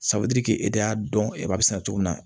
e de y'a dɔn e b'a sɛnɛ cogo min na